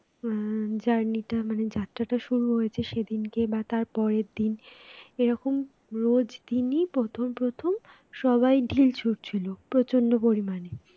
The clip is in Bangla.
আহ journey টা মানে যাত্রাটা শুরু হয়েছে তো সেদিনকে তার পরের দিন এরকম রোজ দিন প্রথম প্রথম সবাই ঢিল ছুট ছিল প্রচন্ড পরিমাণে